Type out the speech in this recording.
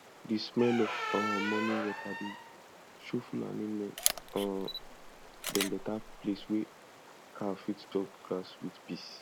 di smell of um morning water dey show fulani men um dem better place wey cow fit chop grass with peace